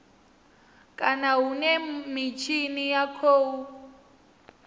kana hune mitshini ya khou